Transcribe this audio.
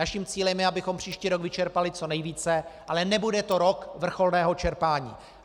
Naším cílem je, abychom příští rok vyčerpali co nejvíce, ale nebude to rok vrcholného čerpání.